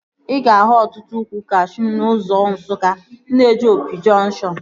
Ị ga-ahụ ọtụtụ ukwu kashuu n'ụzọ Nsukka na-eje Opi jọnkshọn